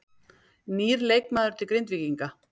Nýr leikmaður til Grindvíkinga